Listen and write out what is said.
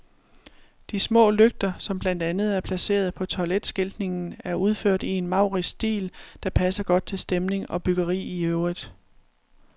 De små lygter, som blandt andet er placeret på toiletskiltningen, er udført i en maurisk stil, der passer godt til stemning og byggeri i øvrigt.